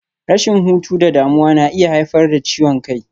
Rashin hutu da damuwa na iya haifar da ciwon kai.